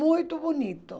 Muito bonito.